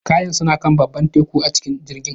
Kayana suna kan babban teku a cikin jirgin